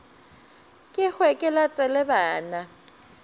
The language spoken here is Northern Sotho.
ke hwe ke latele bana